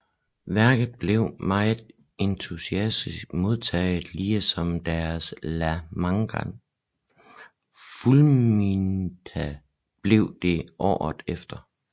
Værket blev meget entusiastisk modtaget lige som deres La Maga fulminata blev det året efter